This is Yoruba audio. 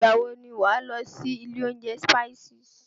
Ìgbà wọ ni wà á lọ sí ilé oúnjẹ Spices?